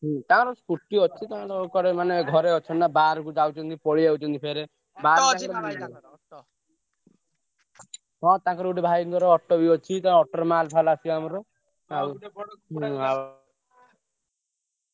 ହୁଁ ତାଙ୍କର scooty ଅଛି ତାଙ୍କର ମାନେ ଘରେ ଅଛନ୍ତି ନା ବାହାରକୁ ଯାଉଛନ୍ତି ପଳେଇ ଆଉଛନ୍ତି ଫେରେ ହଁ ତାଙ୍କର ଗୋଟେ ଭାଇଙ୍କର auto ବି ଅଛି। ତାଙ୍କ auto ରେ ମାଲ ଫାଲ ଆସିବ ଆମର।